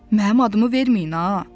Mənim adımı verməyin ha.